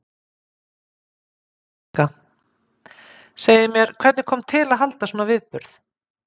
Helga: Segið mér, hvernig kom til að halda svona viðburð?